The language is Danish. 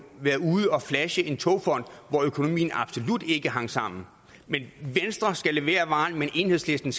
været ude og flashe togfonden hvor økonomien absolut ikke hang sammen men at venstre skal levere varen mens enhedslisten